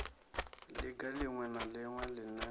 liga liṅwe na liṅwe line